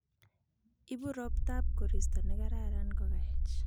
Ibu roptap koristo nikararan kukaech.